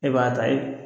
E b'a ta e